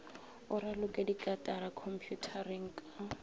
o raloke dikarata khomphutareng ka